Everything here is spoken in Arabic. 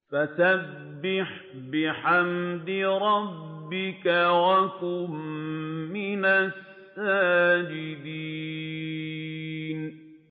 فَسَبِّحْ بِحَمْدِ رَبِّكَ وَكُن مِّنَ السَّاجِدِينَ